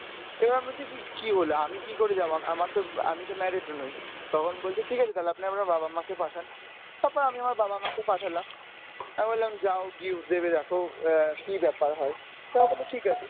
কী হল আমি কী করে যাব আমা~ আমার তো আমি তো married ও নই তখন বলছে ঠিকাছে তালে আপনার বাবা মা কে পাঠান। তারপর আমি আমার বাবা মাকে পাঠালাম। আমি বললাম যাও গিয়ে দেখো এর কী ব্যাপার হয় তারা বলল ঠিকাছে।